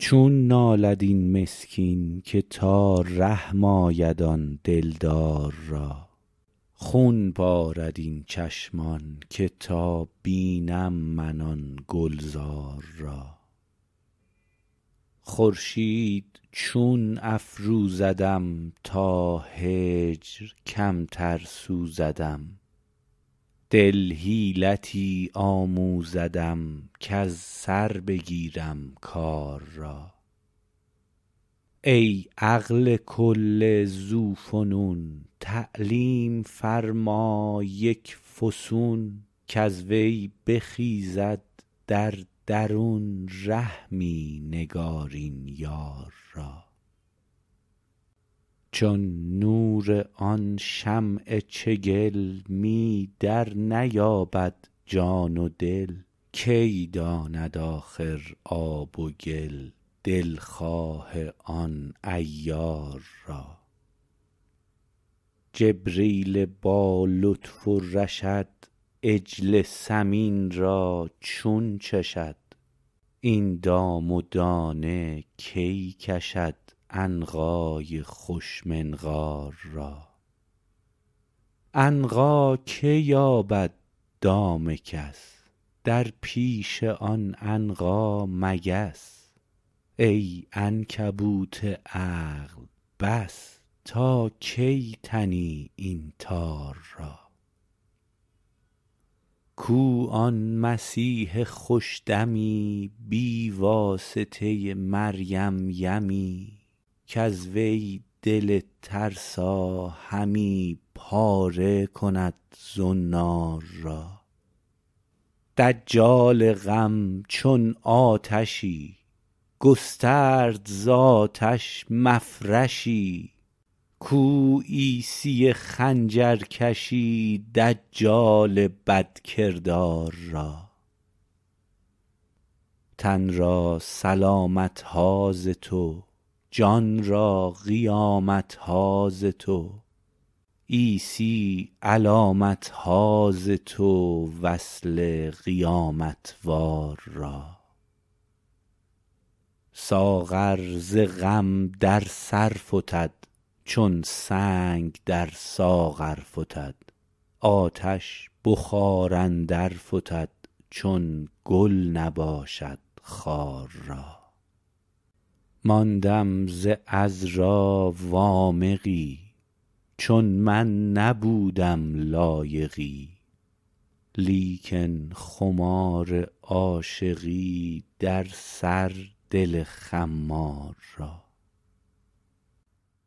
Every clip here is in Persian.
چون نالد این مسکین که تا رحم آید آن دلدار را خون بارد این چشمان که تا بینم من آن گلزار را خورشید چون افروزدم تا هجر کمتر سوزدم دل حیلتی آموزدم کز سر بگیرم کار را ای عقل کل ذوفنون تعلیم فرما یک فسون کز وی بخیزد در درون رحمی نگارین یار را چون نور آن شمع چگل می درنیابد جان و دل کی داند آخر آب و گل دلخواه آن عیار را جبریل با لطف و رشد عجل سمین را چون چشد این دام و دانه کی کشد عنقای خوش منقار را عنقا که یابد دام کس در پیش آن عنقا مگس ای عنکبوت عقل بس تا کی تنی این تار را کو آن مسیح خوش دمی بی واسطه مریم یمی کز وی دل ترسا همی پاره کند زنار را دجال غم چون آتشی گسترد ز آتش مفرشی کو عیسی خنجرکشی دجال بدکردار را تن را سلامت ها ز تو جان را قیامت ها ز تو عیسی علامت ها ز تو وصل قیامت وار را ساغر ز غم در سر فتد چون سنگ در ساغر فتد آتش به خار اندر فتد چون گل نباشد خار را ماندم ز عذرا وامقی چون من نبودم لایقی لیکن خمار عاشقی در سر دل خمار را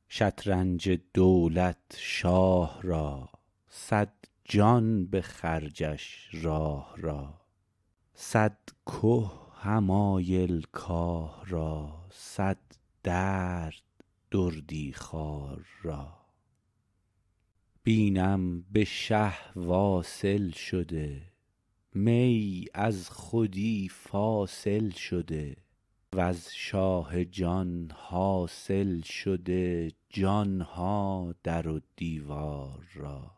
شطرنج دولت شاه را صد جان به خرجش راه را صد که حمایل کاه را صد درد دردی خوار را بینم به شه واصل شده می از خودی فاصل شده وز شاه جان حاصل شده جان ها در و دیوار را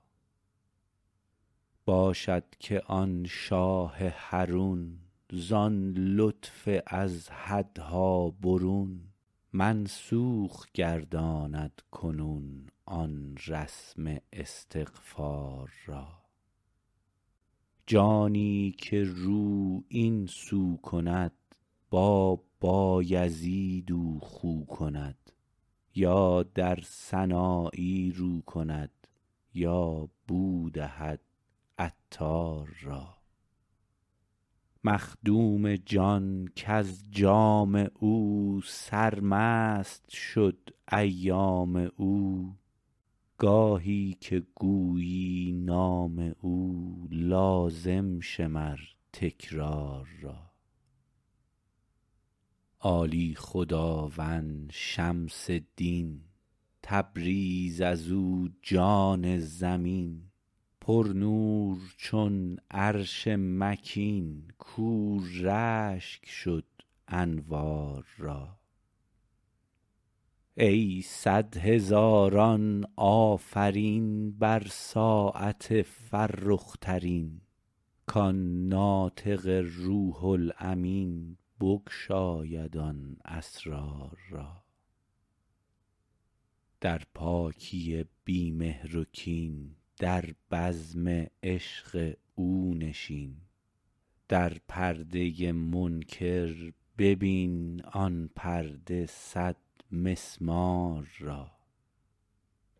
باشد که آن شاه حرون زان لطف از حدها برون منسوخ گرداند کنون آن رسم استغفار را جانی که رو این سو کند با بایزید او خو کند یا در سنایی رو کند یا بو دهد عطار را مخدوم جان کز جام او سرمست شد ایام او گاهی که گویی نام او لازم شمر تکرار را عالی خداوند شمس دین تبریز از او جان زمین پرنور چون عرش مکین کاو رشک شد انوار را ای صد هزاران آفرین بر ساعت فرخ ترین کان ناطق روح الامین بگشاید آن اسرار را در پاکی بی مهر و کین در بزم عشق او نشین در پرده منکر ببین آن پرده صدمسمار را